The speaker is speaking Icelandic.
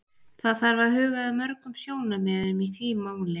Það þarf að huga að mörgum sjónarmiðum í því máli.